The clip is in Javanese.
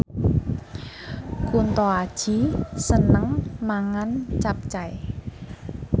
Kunto Aji seneng mangan capcay